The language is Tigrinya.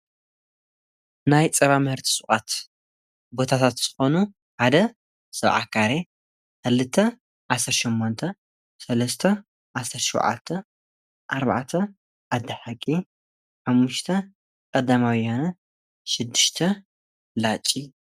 ናይ ጸባ ምሕርቲ ስዓት ቦታታት ዝኾኑ ሓደ ሰብዓ ካሬ ፡ክልተ ዓሠርሸሞንተ ፡ሠለስተ ዓሠርሸዋዓተ፡ ዓርባዕተ ኣድሐቂ፡ ሓሙሽተ ቐደማውያነ ፡ሽድሽተ ላጭ ዮም።